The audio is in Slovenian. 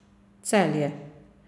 Celje.